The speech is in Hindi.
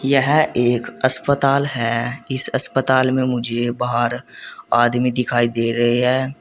यह एक अस्पताल है इस अस्पताल में मुझे बाहर आदमी दिखाई दे रहे हैं।